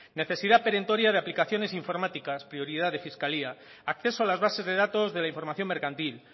necesidad perentoria de aplicaciones informáticas prioridad de fiscalía acceso a las bases de datos de la información mercantil